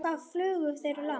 Hvað flugu þeir langt?